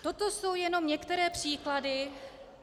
Toto jsou jenom některé příklady.